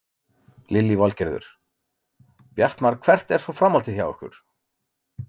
Lillý Valgerður: Bjartmar hvert er svo framhaldið hjá ykkur?